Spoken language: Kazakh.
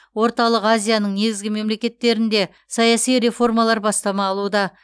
орталық азияның негізгі мемлекеттерінде саяси реформалар бастама алуда